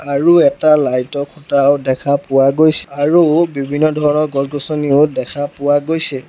আৰু এটা লাইট ৰ খুঁটাও দেখা পোৱা গৈছে আৰু বিভিন্ন ধৰণৰ গছ-গছনিও দেখা পোৱা গৈছে।